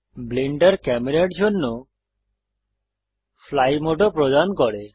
Blender ক্যামেরার জন্য fly মোডও প্রদান করে